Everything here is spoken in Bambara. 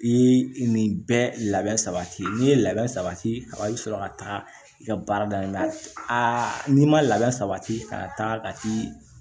I ye nin bɛɛ labɛn sabati n'i ye labɛn sabati a bi sɔrɔ ka taa i ka baara dayɛlɛ aa n'i ma labɛn sabati ka taga kati